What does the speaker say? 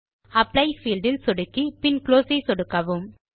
apply field இல் சொடுக்கி பின் குளோஸ் ஐ சொடுக்கவும்